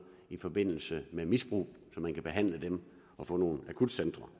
i forbindelse med misbrug så man kan behandle dem og få nogle akutcentre